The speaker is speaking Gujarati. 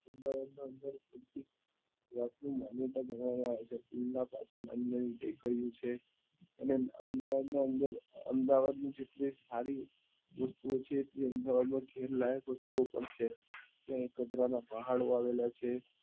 આવ્યા છે pool નાં પાસે નાની નાની ટેકરીઓ છે અને અમદાવાદ ની અંદર અમદાવાદ ની જેટલી સારી વસ્તુઓ છે એં અમદાવાદ માં ઘેર્લાયક વસ્તુઓ પણ છે ત્યાં ગોધરા ના પહાડો આવેલા છે